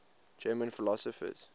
german philosophers